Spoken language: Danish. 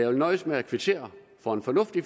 vil nøjes med at kvittere for en fornuftig